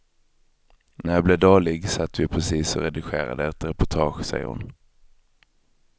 När jag blev dålig satt vi precis och redigerade ett reportage, säger hon.